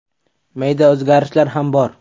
Mayda o‘zgarishlar ham bor.